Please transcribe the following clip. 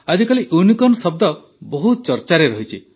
ଆଜିକାଲି ୟୁନିକର୍ଣ୍ଣ ଶବ୍ଦ ବହୁତ ଚର୍ଚାରେ ରହିଛି